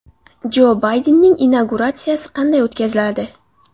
Jo Baydenning inauguratsiyasi qanday o‘tkaziladi?